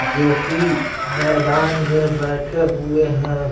जो कि मैदान में बैठे हुए हैं .